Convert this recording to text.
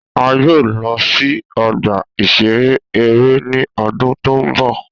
A yoo lọ si ọgba-iṣere ere ni ọdun to nbọ.